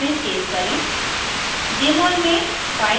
# mol files में save करें